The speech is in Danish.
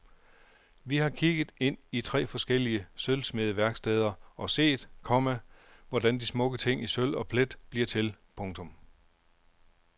Vi har kigget ind i tre forskellige sølvsmedeværksteder og set, komma hvordan de smukke ting i sølv og plet bliver til. punktum